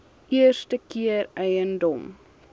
eerste keer eiendom